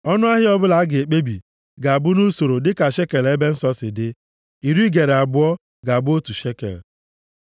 Ọnụahịa ọbụla a ga-ekpebi ga-abụ nʼusoro dịka shekel ebe nsọ si dị. Iri gera abụọ + 27:25 \+xt Ọpụ 30:13\+xt* ga-abụ otu shekel.